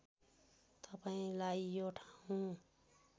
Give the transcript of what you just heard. तपाईँंलाई यो ठाउँ